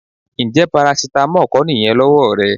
Ǹjẹ́ parasítámọ̀ kọ́ nìyẹn lọ́wọ́ rẹ?